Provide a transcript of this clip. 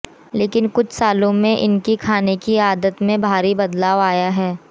लेकिन कुछ सालों में इनकी खाने की आदत में भारी बदलाव आया है